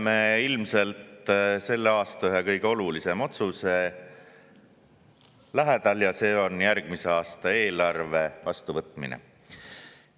Oleme ilmselt selle aasta ühe kõige olulisema otsuse lähedal, see on järgmise aasta eelarve vastuvõtmine.